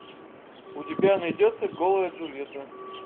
у тебя найдется голая джульетта